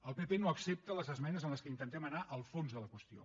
el pp no accepta les esmenes en què intentem anar al fons de la qüestió